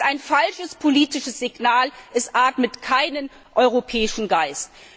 Das ist ein falsches politisches Signal, es atmet keinen europäischen Geist.